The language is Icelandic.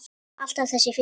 Alltaf þessi fiskur.